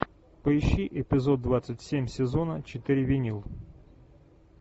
поищи эпизод двадцать семь сезона четыре винил